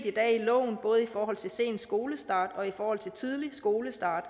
i dag i loven både i forhold til sen skolestart og i forhold til tidlig skolestart